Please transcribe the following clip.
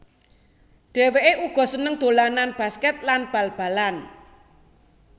Dhewéké uga seneng dolanan basket lan bal balan